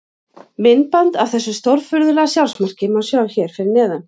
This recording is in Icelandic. Myndband af þessu stórfurðulega sjálfsmarki má sjá hér fyrir neðan.